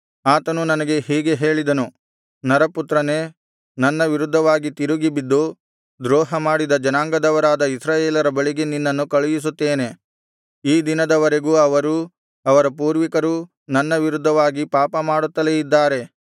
ಆತನು ನನಗೆ ಹೀಗೆ ಹೇಳಿದನು ನರಪುತ್ರನೇ ನನ್ನ ವಿರುದ್ಧವಾಗಿ ತಿರುಗಿಬಿದ್ದು ದ್ರೋಹಮಾಡಿದ ಜನಾಂಗದವರಾದ ಇಸ್ರಾಯೇಲರ ಬಳಿಗೆ ನಿನ್ನನ್ನು ಕಳುಹಿಸುತ್ತೇನೆ ಈ ದಿನದವರೆಗೆ ಅವರೂ ಅವರ ಪೂರ್ವಿಕರೂ ನನ್ನ ವಿರುದ್ಧವಾಗಿ ಪಾಪಮಾಡುತ್ತಲೇ ಇದ್ದಾರೆ